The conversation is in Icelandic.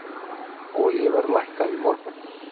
Olíuverð lækkaði í morgun.